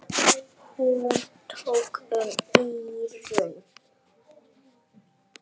Hún tók um eyrun.